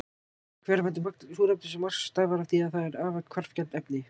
Hverfandi magn súrefnis á Mars stafar af því að það er afar hvarfgjarnt efni.